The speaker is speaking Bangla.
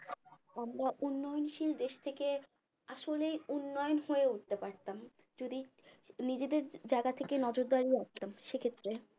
আমরা উন্নয়নশীল দেশ থেকে আসলেই উন্নয়ন হয়ে উঠতে পারতাম যদি নিজেদের জায়গা থেকে নজরদারি রাখতাম সে ক্ষেত্রে